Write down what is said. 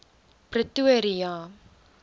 pretoria